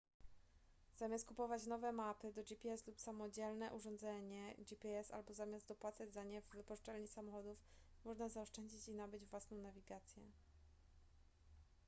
zamiast kupować nowe mapy do gps lub samodzielne urządzenie gps albo zamiast dopłacać za nie w wypożyczalni samochodów można zaoszczędzić i nabyć własną nawigację